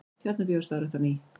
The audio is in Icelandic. Tjarnarbíó starfrækt á ný